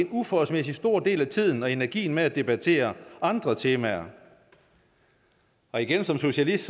uforholdsmæssig stor del af tiden og energien med at debattere andre temaer og igen som socialist